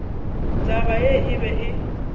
taba ye e be e